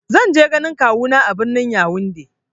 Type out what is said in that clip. Zan je ganin kawu na a birnin "Younde "